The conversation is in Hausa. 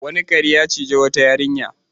Wani kare ya ciji wata yarinya.